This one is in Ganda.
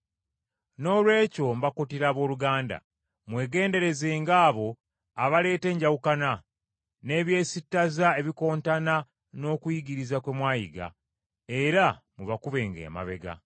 Noolwekyo mbakuutira abooluganda mwegenderezenga abo abaleeta enjawukana, n’eby’esittaza ebikontana n’okuyigiriza kwe mwayiga, era mubakubenga amabega.